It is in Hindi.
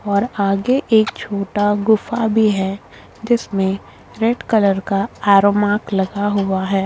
और आगे एक छोटा गुफा भी है जिसमें रेड कलर का आरोमार्क लगा हुआ है।